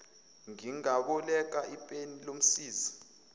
ngingaboleka ipeni lomsizi